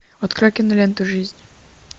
открой киноленту жизнь